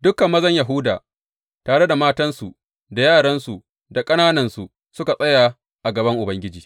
Dukan mazan Yahuda, tare da matansu da yaransu da ƙananansu, suka tsaya a gaban Ubangiji.